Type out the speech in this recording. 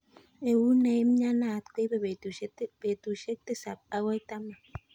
Eut neimnyanat koibei betushe tisab akoi taman.